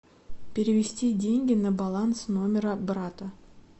перевести деньги на баланс номера брата